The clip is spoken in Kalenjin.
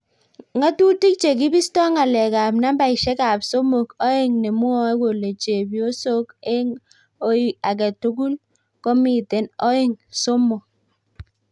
Ngatutik che kibisto ngalekab nambaishek ab somok oeng ne mwoe kole chepyosoo eng ooi agetugul ko miten oeng somok